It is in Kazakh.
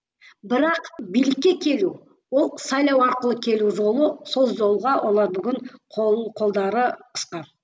бірақ билікке келу ол сайлау арқылы келу жолы сол жолға олар бүгін қол қолдары қысқа